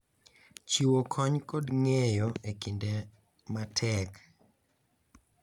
Chiwo kony kod ng’eyo e kinde ma tek.